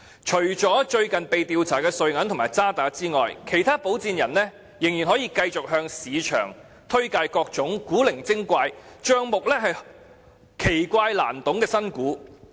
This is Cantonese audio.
除了最近被調查的瑞銀及渣打外，其他保薦人仍然可以繼續向市場推介各種古靈精怪、帳目新奇難懂的新股。